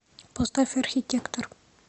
поставь архитектор